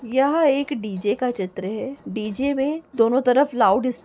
यह एक डीजे का चित्र है डीजे में दोनों तरफ लाउडस् --